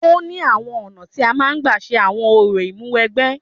Ó ní àwọn ọ̀nà tí a máa ń gba ṣe àwọn orò Ìmúwẹgbẹ́